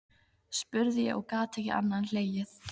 spurði ég og gat ekki annað en hlegið.